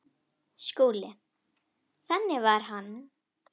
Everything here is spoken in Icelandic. SKÚLI: Þannig var hann.